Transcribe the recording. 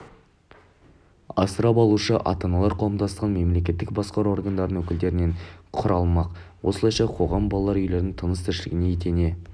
асырап алушы ата-аналар қауымдастығының мемлекеттік басқару органдарының өкілдерінен құралмақ осылайша қоғам балалар үйлерінің тыныс-тіршіліне етене